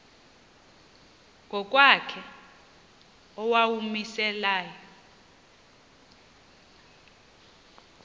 ngokwakhe owawumise layo